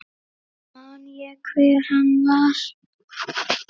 Man ég hver hann var?